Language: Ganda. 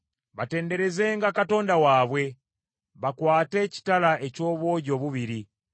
Batenderezenga Katonda waabwe, bakwate ekitala eky’obwogi obubiri,